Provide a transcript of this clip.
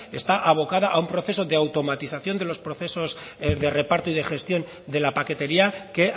está abocada a un proceso de automatización de los procesos de reparto y de gestión de la paquetería que